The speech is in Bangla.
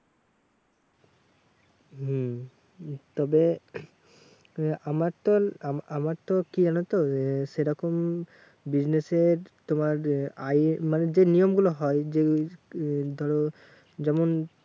হম তবে ইয়ে আমারতো আ আমারতো কি জানতো আহ সেরকম business এর তোমার আহ মানে যে নিয়ম গুলো হয় যেই এই ধরো যেমন